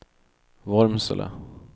Vormsele